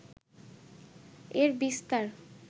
এর বিস্তার